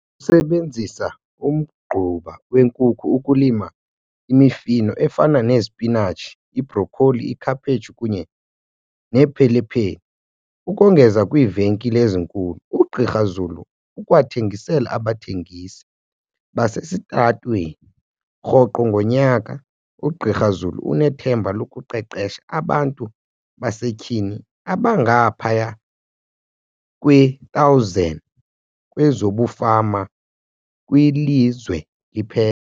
sebenzisa umgquba wenkukhu ukulima imifuno efana nesipinatshi, ibrokholi, ikhaphetshu kunye neepepile. Ukongeza kwiivenkile ezinkulu, uGqr Zulu ukwathengisela abathengisi basesitalatweni. Rhoqo ngonyaka, uGqr Zulu unethemba lokuqeqesha abantu basetyhini abangaphaya kwe-1 000 kwezobufama kwilizwe liphela.